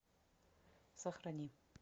сохрани